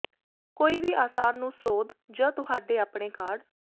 ਕੋਈ ਵੀ ਆਸਾਨ ਨੂੰ ਸੋਧ ਜ ਤੁਹਾਡੇ ਆਪਣੇ ਕਾਢ